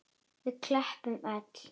Við klöppum öll.